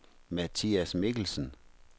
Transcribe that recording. Mathias Mikkelsen